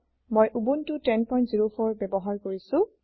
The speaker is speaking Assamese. মই উবুনটো 1004 ব্যৱহাৰ কৰিছো